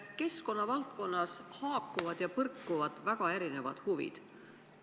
Keskkonna valdkonnas haakuvad ja põrkuvad väga erinevad huvid.